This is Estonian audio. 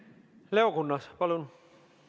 Leo Kunnas, palun!